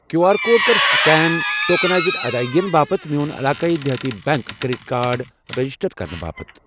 Q R code کَر scan tokenised ادٲیگین باپتھ میون عِلاقایی دِہاتی بیٚنٛک کرٛیٚڈِٹ کارڈ ریجسٹر کرنہٕ باپتھ۔